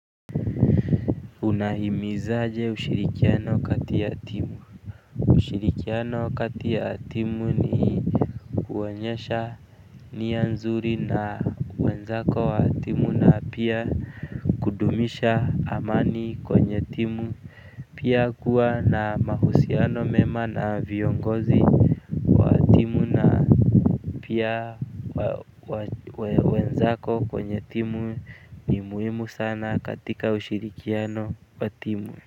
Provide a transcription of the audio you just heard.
Unahimizaje ushirikiano kati ya timu? Ushirikiano kati ya timu ni kuonyesha nia nzuri na wenzako wa timu na pia kudumisha amani kwenye timu. Pia kuwa na mahusiano mema na viongozi, timu na pia wenzako kwenye timu ni muhimu sana katika ushirikiano wa timu.